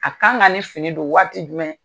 A kan ka nin fini don waati jumɛn.